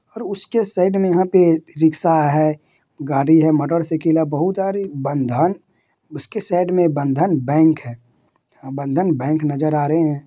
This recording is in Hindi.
और उसके साइड में यहां पे रिक्शा है गाड़ी है मोटरसाइकिल है बहुत। अरे बंधन उसके साइड मे बंधन बैंक है बंधन बैंक नजर आ रहे हैं।